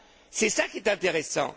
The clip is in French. c'est ça qui est intéressant.